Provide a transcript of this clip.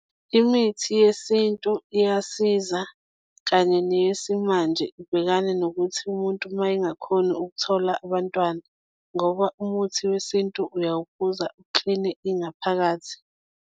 Imithi yesintu iyasiza kanye neyesimanje ibhekane nokuthi umuntu uma engakhoni ukuthola abantwana, ngoba umuthi wesintu uyawuphuza ukukline ingaphakathi.